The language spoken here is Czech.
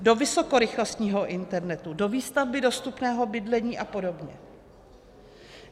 Do vysokorychlostního internetu, do výstavby dostupného bydlení a podobně.